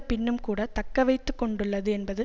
பின்னும் கூட தக்கவைத்து கொண்டுள்ளது என்பது